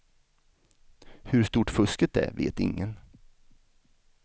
Hur stort fusket är vet ingen.